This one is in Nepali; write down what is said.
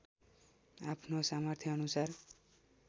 आफ्नो सामर्थ्य अनुसार